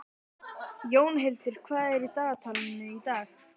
Jónhildur, hvað er á dagatalinu í dag?